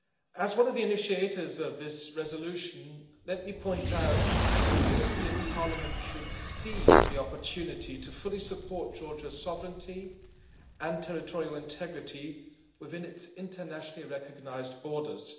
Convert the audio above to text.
As one of the initiators of this resolution, let me point out that the European Parliament should seize the opportunity to fully support Georgia's sovereignty and territorial integrity within its internationally recognised borders.